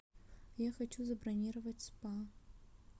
я хочу забронировать спа